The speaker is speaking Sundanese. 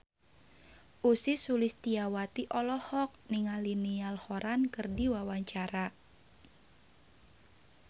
Ussy Sulistyawati olohok ningali Niall Horran keur diwawancara